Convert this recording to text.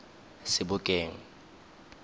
sebokeng